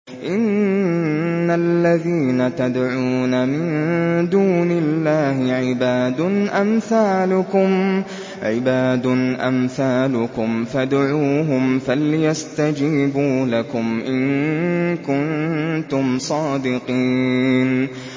إِنَّ الَّذِينَ تَدْعُونَ مِن دُونِ اللَّهِ عِبَادٌ أَمْثَالُكُمْ ۖ فَادْعُوهُمْ فَلْيَسْتَجِيبُوا لَكُمْ إِن كُنتُمْ صَادِقِينَ